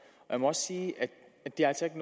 jeg må også sige at det altså ikke